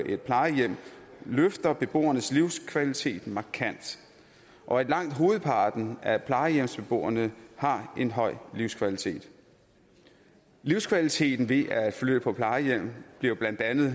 et plejehjem løfter beboernes livskvalitet markant og at langt hovedparten af plejehjemsbeboerne har en høj livskvalitet livskvaliteten ved at flytte på plejehjem bliver blandt andet